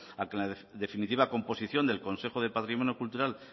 a que en la definitiva composición del consejo de patrimonio cultural